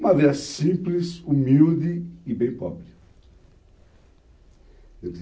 Uma vida simples, humilde e bem pobre.